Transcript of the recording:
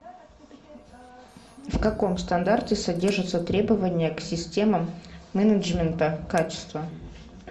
в каком стандарте содержатся требования к системам менеджмента качества